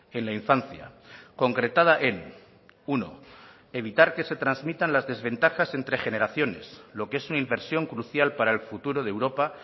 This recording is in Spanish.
en la infancia concretada en uno evitar que se transmitan las desventajas entre generaciones lo que es una inversión crucial para el futuro de europa